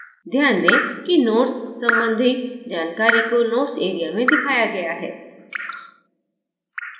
ध्यान दें कि notes संबंधी जानकारी को notes area में दिखाया गया है